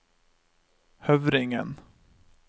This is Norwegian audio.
Høvringen